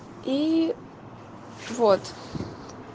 и вот